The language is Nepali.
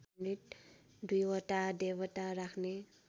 दुईवटा देवता राख्ने